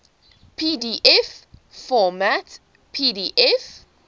pdf format pdf